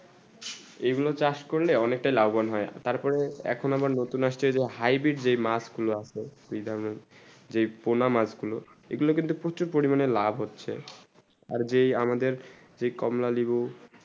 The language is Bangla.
এই গুলু ছায়াস করলে অনেক তা লাভ মান হয়ে তার পরে এখন আমার নতুন আসছে যে hybrid যে মাছ গুলু আছে যে পোনা মাছ গুলু এই গুলু কিন্তু প্রচুর পরিমাণে লাভ হচ্ছেই আর যেই আমাদের যেই কমলা নিম্বু